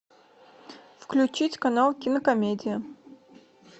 включить канал кинокомедия